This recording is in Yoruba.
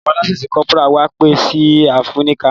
Awọn lance corporal wá pẹ si afẹnuka.